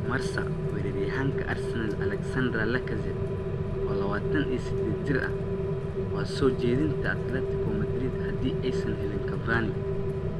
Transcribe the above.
(Marca) Weeraryahanka Arsenal Alexandre Lacazette, oo 28 jir ah, waa soo jeedinta Atletico Madrid haddii aysan helin Cavani.